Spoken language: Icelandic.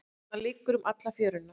Hann liggur um alla fjöruna.